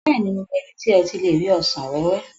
Bẹ́ẹ̀ni, mo mọ ibi tí e ti le rí ọsàn wéwé.